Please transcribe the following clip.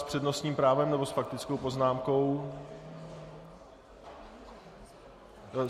S přednostním právem nebo s faktickou poznámkou?